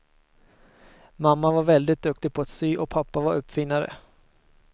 Mamma var väldigt duktig på att sy och pappa var uppfinnare.